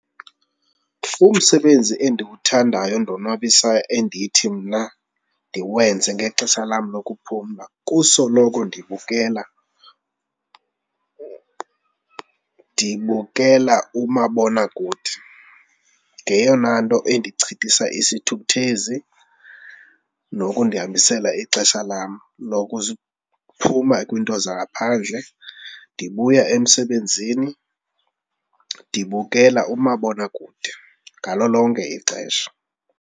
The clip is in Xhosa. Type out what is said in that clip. Umsebenzi endiwuthandayo ondonwabisayo endithi mna ndiwenze ngexesha lam lokuphumla kusoloko ndibukela, ndibukela umabonakude, ngeyona nto endichithasa isithukuthezi nokundihambisela ixesha lam lokuphuma kwiinto zangaphandle. Ndibuya emsebenzini ndibukela umabonakude ngalo lonke ixesha.